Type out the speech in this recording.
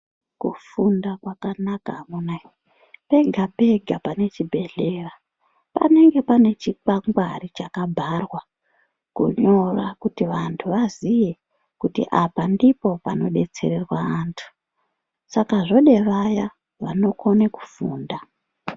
Kufunda kwakanaka amuna we pega pega pane chibhedhlera panenge pane chikwangwari chakabharwa kunyora kuti apa vazive kuti ndipo panodetserwa antu Saka apa panoda vanokona kufunda.